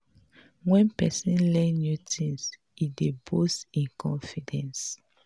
when person learn new things e dey boost im confidence